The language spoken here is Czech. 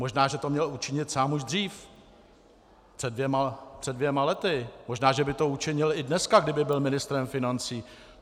Možná že to měl učinit sám už dřív, před dvěma lety, možná že by to učinil i dneska, kdyby byl ministrem financí.